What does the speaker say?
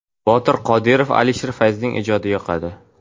Botir Qodirov, Alisher Fayzning ijodi yoqadi.